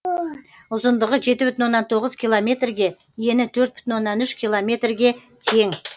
ұзындығы жеті бүтін оннан тоғыз километрге ені төрт бүтін оннан үш километрге тең